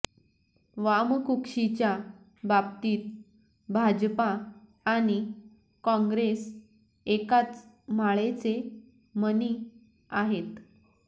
वामकुक्षीच्या बाबतीत भाजपा आणि काँग्रेस एकाच माळेचे मणी आहेत